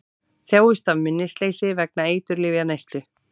Þjáist af minnisleysi vegna eiturlyfjaneyslu